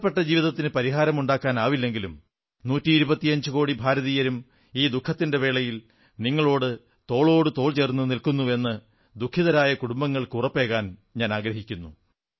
നഷ്ടപ്പെട്ട ജീവിതങ്ങൾക്ക് പരിഹാരമുണ്ടാക്കാനാവില്ലെങ്കിലും നൂറ്റി ഇരുപത്തിയഞ്ചുകോടി ഭാരതീയരും ഈ ദുഃഖത്തിന്റെ വേളയിൽ നിങ്ങളുടെ തോളോടു തോൾ ചേർന്നു നിൽക്കുന്നുവെന്ന് ദുഃഖിതരായ കുടുംബങ്ങൾക്ക്് ഉറപ്പേകാൻ ആഗ്രഹിക്കുന്നു